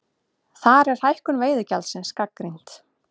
Þar er hækkun veiðigjaldsins gagnrýnd